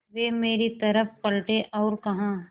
वे मेरी तरफ़ पलटे और कहा